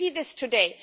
We see this today.